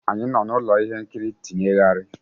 Anyị nọ n'ụlọ ihe nkiri tinyegharị.